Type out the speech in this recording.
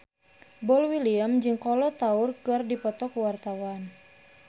Boy William jeung Kolo Taure keur dipoto ku wartawan